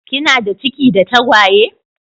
Kinada ciki da tagwaye?